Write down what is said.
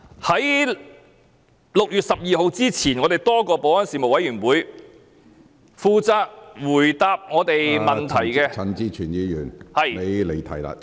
在6月12日之前，在立法會保安事務委員會負責回答多位議員問題的......